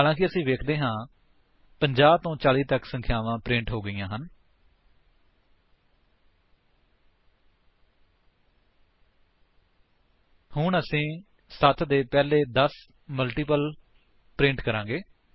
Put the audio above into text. ਹਾਲਾਂਕਿ ਅਸੀ ਵੇਖਦੇ ਹਾਂ 50 ਤੋਂ 40 ਤੱਕ ਸੰਖਿਆਵਾਂ ਪ੍ਰਿੰਟ ਹੋ ਗਈਆਂ ਹਨ ਹੁਣ ਅਸੀ 7 ਦੇ ਪਹਿਲੇ 10 ਮਲਟੀਪਲ ਪ੍ਰਿੰਟ ਕਰਾਂਗੇ